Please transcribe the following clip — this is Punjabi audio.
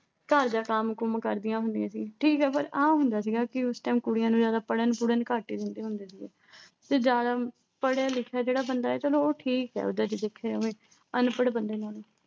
ਘਰ ਦਾ ਕੰਮ-ਕੁੰਮ ਕਰਦੀਆਂ ਹੁੰਦੀਆਂ ਸੀ। ਠੀਕ ਆ, ਪਰ ਇਹ ਹੁੰਦਾ ਸੀਗਾ ਵੀ ਉਸ time ਕੁੜੀਆਂ ਨੂੰ ਜ਼ਿਆਦਾ ਪੜ੍ਹਨ-ਪੁੜ੍ਹਨ ਘੱਟ ਹੀ ਦਿੰਦੇ ਹੁੰਦੇ ਸੀਗੇ।